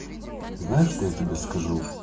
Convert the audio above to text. знаешь что я тебе скажу